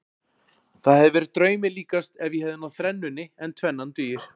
Það hefði verið draumi líkast ef ég hefði náð þrennunni en tvennan dugar.